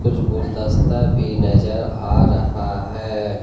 कुछ गुलदस्ता भी नजर आ रहा है।